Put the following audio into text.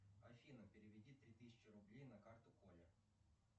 афина переведи три тысячи рублей на карту коле